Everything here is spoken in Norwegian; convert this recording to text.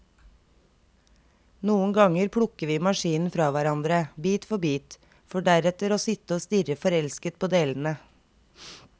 Noen ganger plukker vi maskinen fra hverandre, bit for bit, for deretter å sitte og stirre forelsket på delene.